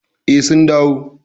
Eh, sun dawo.